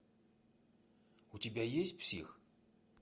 у тебя есть псих